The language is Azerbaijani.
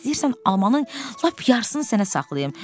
İstəyirsən almanın lap yarısını sənə saxlayım."